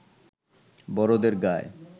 বড়দের গায়